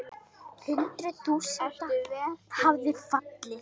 Hundruð þúsunda hafa fallið.